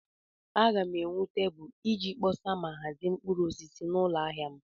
Aga m ewu tebụl iji kpọsa ma hazie mkpụrụ osisi n'ụlọ ahịa m.